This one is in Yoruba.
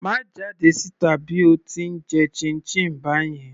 Má jáde síta bí o ti ń jẹ chinchin báyẹn.